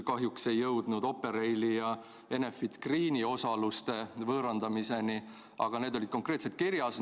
Kahjuks küll ei jõutud Operaili ja Enefit Greeni osaluste võõrandamiseni, aga need olid konkreetselt kirjas.